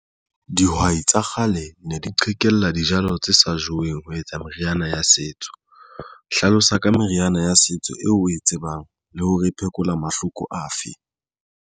Dihwai tsa kgale ne di qhekella dijalo tse sa jeweng ho etsa meriana ya setso hlalosa ka meriana ya setso eo o e tsebang le hore e phekola mahloko afe.